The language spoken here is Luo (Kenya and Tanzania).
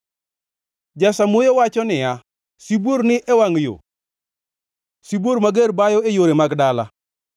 Jasamuoyo wacho niya, “Sibuor ni e wangʼ yo, sibuor mager bayo e yore mag dala!”